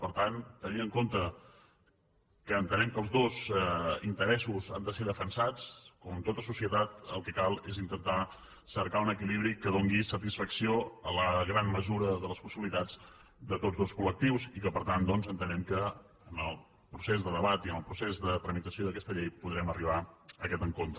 per tant tenint en compte que entenem que els dos interessos han de ser defensats com en tota societat el que cal és intentar cercar un equilibri que doni satisfacció a la gran mesura de les possibilitats de tots dos col·lectius i per tant doncs entenem que en el procés de debat i en el procés de tramitació d’aquesta llei podrem arribar a aquest encontre